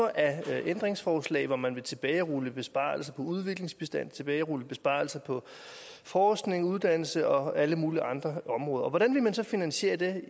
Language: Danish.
af ændringsforslag hvor man vil tilbagerulle besparelser på udviklingsbistanden og tilbagerulle besparelser på forskning uddannelse og alle mulige andre områder hvordan vil man så finansiere det